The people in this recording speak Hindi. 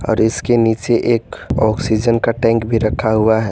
और इसके नीचे एक ऑक्सीजन का टैंक भी रखा हुआ है।